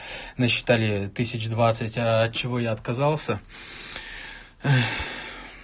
насчитали тысяч двадцать от чего я отказался